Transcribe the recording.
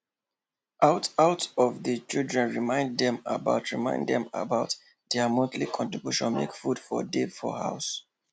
one out of the children remind dem about remind dem about dia monthly contribution makw food for dey for house